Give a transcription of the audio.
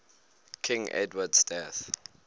king edward's death